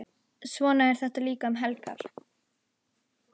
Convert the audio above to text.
Svona er þetta líka um helgar.